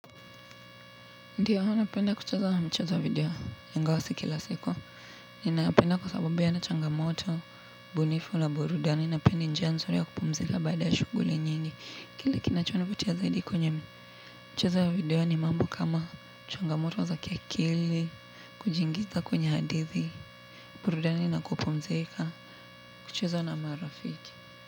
Ndio napenda kucheza mchezo video ingawa si kila siku ninayapenda kwa sababu hayana changamoto mbunifu la burudani na pia ni njia nzuri ya kupumzika baada ya shughuli nyingi kile kinachonivutia zaidi kwenye michezo ya video ni mambo kama changamoto za kiakili kujiingiza kwenye hadithi burudani na kupumzika kucheza na marafiki.